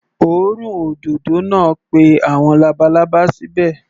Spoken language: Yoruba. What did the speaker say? Òórùn òdòdó náà pé àwọn labalábá síbẹ̀.